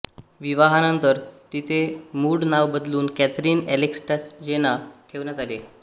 विवाहानंतर तिचे मूळ नाव बदलून कॅथरीन एलेक्सीयेव्ना ठेवण्यात आले